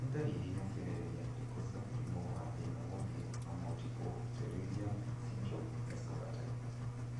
Nĩ ndariri na cionereria irĩkũ cia mũrimũ wa thina ũthiũ wa Multiple pterygium syndrome Escobar type